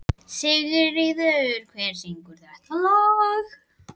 Sigurður, hver syngur þetta lag?